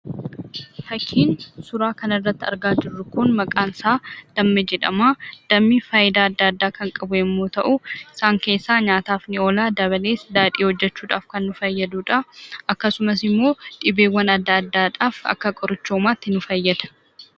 Fakkiin suuraa kanarratti argaa jirru kun, maqaan isaa damma jedhama. Dammi faayidaa adda addaa kan qabu yemmu ta'u isaan keessa nyaataf ni oola. Dabalees daadhii hojkechuudhaf kan nu fayyadudha. Akkasumas immo dhibeewwan addaa addaadhaf akka qorichumatti nu fayyada.